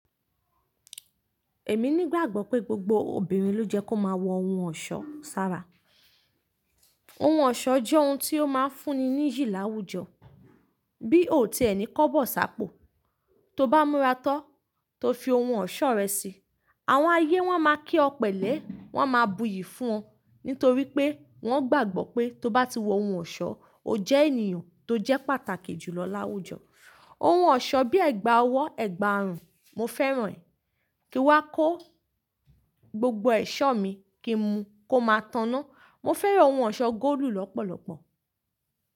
Èmi ní gbàgbọ́ pé gbogbo obìnrin ló jẹ́ kó máa wọ ohun ọ̀ṣọ́ sára. Ohun ọ̀ṣọ́ jẹ́ ohun tí ó máa ń fún ni ní yi làwújọ. Bí ò ti ẹni kọ́ bọ̀ ṣàpò, to bá múra tó, to fi ohun ọ̀ṣọ́ rẹ sí, àwọn ayé wọ́n máa kí ọ pẹ̀lẹ́, wọ́n máa buyì fún ọ. Nítorí pé wọ́n gbàgbọ́ pé tó bá ti wọ ohun ọ̀ṣọ́, o jẹ́ ènìyàn tó jẹ́ pàtàkì jù lọ láwùjọ. Ohun ọ̀ṣọ́ bíi ẹ̀gbà ọwọ́, ẹ̀gbà àrùn, mo fẹ́ràn ẹ̀. Kí wá kó gbogbo ẹ̀ṣọ́ mi kí n mu kó máa tanná. Mo fẹ́ràn ohun ọ̀ṣọ́ góòlù lọ́pọ̀lọpọ̀.